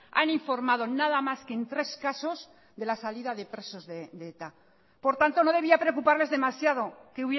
han informado nada más que en tres casos de la salida de presos de eta por tanto no debía preocuparles demasiado que